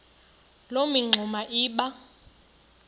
loo mingxuma iba